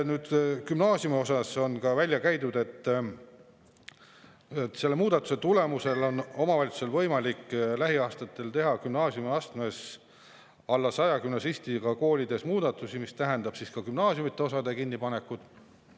Gümnaasiumiosade kohta on välja käidud, et selle muudatuse tulemusel on omavalitsustel võimalik lähiaastatel teha alla 100 gümnasistiga koolides gümnaasiumiastmes muudatusi, mis tähendab ka gümnaasiumiosade kinnipanekut.